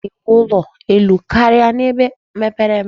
A na-ewu ụlọ elu karia n'ebe mepere emepe.